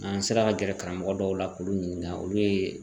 N'an sera ka gɛrɛ karamɔgɔ dɔw la k'u ɲininka olu ye